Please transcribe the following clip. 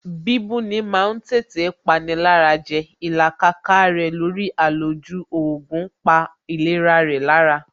Bíbú ni ma ń tètè pani lára jẹ Ìlàkàkà rẹ̀ lórí àlòjù oògùn pa ìlera rẹ̀ lára